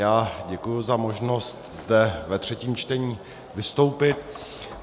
Já děkuji za možnost zde ve třetím čtení vystoupit.